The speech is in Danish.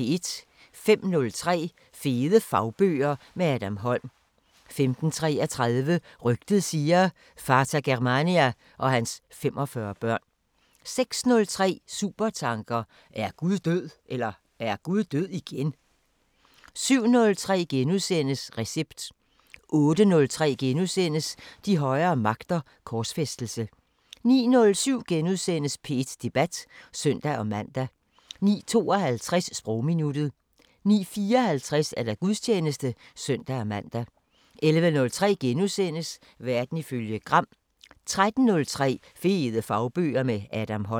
05:03: Fede fagbøger – med Adam Holm 05:33: Rygtet siger: Vater Germania og hans 45 børn 06:03: Supertanker: Er Gud død (igen)? 07:03: Recept * 08:03: De højere magter: Korsfæstelse * 09:07: P1 Debat *(søn-man) 09:52: Sprogminuttet 09:54: Gudstjeneste (søn-man) 11:03: Verden ifølge Gram * 13:03: Fede fagbøger – med Adam Holm